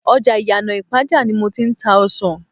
ọjà Iyana ipaja ni mo ti ń ta ọsàn.